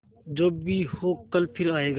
जो भी हो कल फिर आएगा